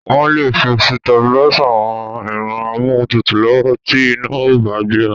Wọ́n lè fi sitabilísà ran ẹ̀rọ amóhuntutù lọ́wọ́ tí iná ò bá gbéra.